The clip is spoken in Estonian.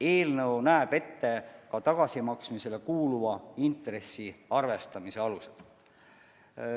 Eelnõu näeb ette ka tagasimaksmisele kuuluva intressi arvestamise alused.